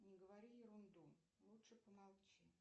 не говори ерунду лучше помолчи